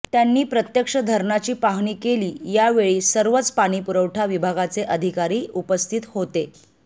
त्यांनी प्रत्यक्ष धरणाची पाहाणी केली यावेळी सर्वच पाणी पुरवठा विभागाचे अधिकारी उपस्थित होते